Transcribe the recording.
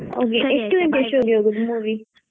ಎಷ್ಟು ಗಂಟೆ show ಗೆ ಹೋಗೋದು movie.